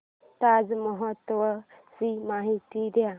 ताज महोत्सव ची माहिती दे